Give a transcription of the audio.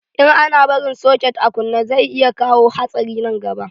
In ana barin soket a kunne, zai iya kawo hatsari nan gaba.